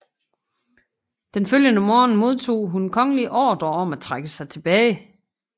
Den følgende morgen modtog hun kongelige ordrer om at trække sig tilbage